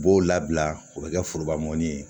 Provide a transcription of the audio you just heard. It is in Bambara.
U b'o labila o be kɛ foroba mɔni ye